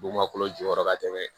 Bugun ma kolo jukɔrɔ ka tɛmɛ